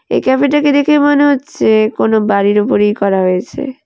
এই ক্যাফে -টাকে দেখেই মনে হচ্ছে কোনও বাড়ির ওপরেই করা হয়েছে।